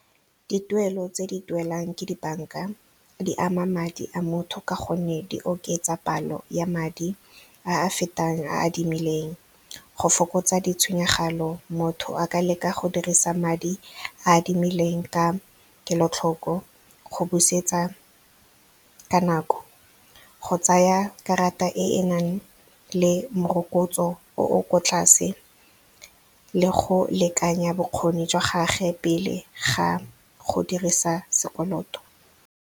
Dituelo tse di duelang ke di-bank-a di ama madi a motho ka gonne di oketsa palo ya madi a a fetang a adimileng, go fokotsa ditshenyegelo, motho a ka leka go dirisa madi a adimileng ka kelotlhoko go busetsa ka nako, go tsaya karata e e nang le morokotso o o kwa tlase le go lekanya bokgoni jwa gage pele ga go dirisa sekoloto.